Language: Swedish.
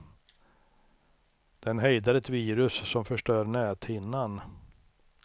Den hejdar ett virus som förstör näthinnan.